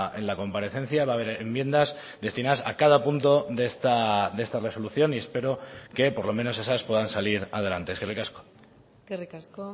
en la comparecencia va haber enmiendas destinadas a cada punto de esta resolución y espero que por lo menos esas puedan salir adelante eskerrik asko eskerrik asko